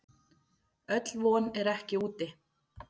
Öll von er ekki úti.